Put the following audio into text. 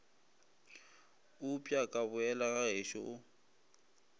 upša ka boela gagešo o